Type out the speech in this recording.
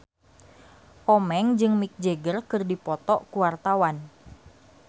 Komeng jeung Mick Jagger keur dipoto ku wartawan